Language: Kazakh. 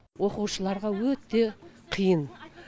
оқушыларға өте қиын